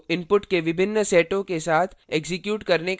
इस code को inputs के विभिन्न सेटों के साथ एक्जीक्यूट करने का प्रयास करें